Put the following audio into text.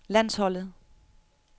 landsholdet